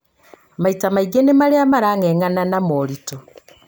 maita maingĩ nĩ marĩa marang'eng'ana na moritũ